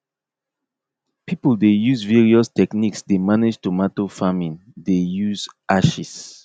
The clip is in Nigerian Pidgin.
people dey use various techniques dey manage tomato farming dey use ashes